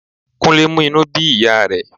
Kúnlé mú inú bí ìyá rẹ̀